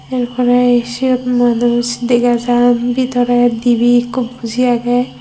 er pore siyot manuj dega jan bidore dibi ekko buji aage.